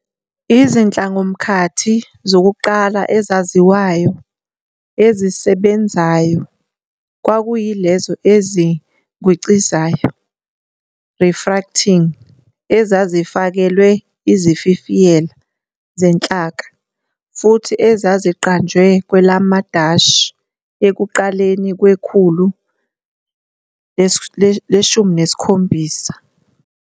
Izihlongamkhathi zokuqala ezaziwayo ezisebenzayo kwakuyilezo ezigwincizayo, "refracting", ezazi fakelwe izififiyela zenhlaka futhi ezaziqanjwe kwelamaDashi ekuqaleni kwekhulu leshumi nesikhombisa.